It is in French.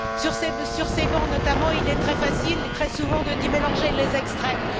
Sur ces bancs, notamment, il est très facile, très souvent, de mélanger les extrêmes.